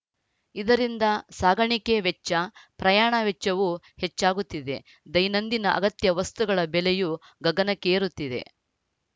ಇದರಿಂದ ಸಾಗಾಣಿಕೆ ವೆಚ್ಚ ಪ್ರಯಾಣ ವೆಚ್ಚವೂ ಹೆಚ್ಚಾಗುತ್ತಿದೆ ದೈನಂದಿನ ಅಗತ್ಯ ವಸ್ತುಗಳ ಬೆಲೆಯೂ ಗಗನಕ್ಕೇರುತ್ತಿವೆ